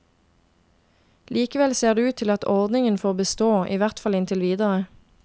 Likevel ser det ut til at ordningen får bestå, i hvert fall inntil videre.